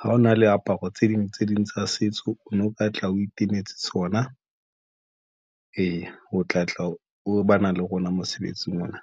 ha ona le aparo tse ding tse ding tsa setso. O no ka tla o itekanetse tsona. Eya, o tlatla o bana le rona mosebetsing ona.